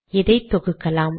இதை தொகுக்கலாம்